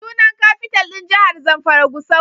Sunan Kafital ɗin jahar Zamfara Gusau.